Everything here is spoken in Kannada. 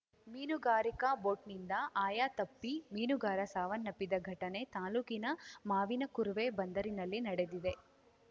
ಮೀನುಗಾರಿಕಾ ಬೋಟ್‍ನಿಂದ ಆಯತಪ್ಪಿ ಮೀನುಗಾರ ಸಾವನ್ನಪ್ಪಿದ ಘಟನೆ ತಾಲೂಕಿನ ಮಾವಿನಕುರ್ವೆ ಬಂದರಿನಲ್ಲಿ ನಡೆದಿದೆ